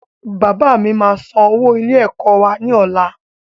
Bàbá mi máa san owó ilé ẹ̀kọ́ wá ní ọ̀la